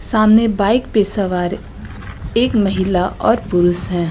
सामने बाइक पे सवार एक महिला और पुरुष है।